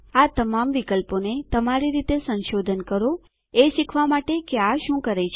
આ તમામ વિકલ્પોને તમારી રીતે સંશોધન કરો એ શીખવા માટે કે આ શું કરે છે